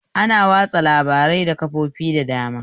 Ana watsa labarai da kafofi da dama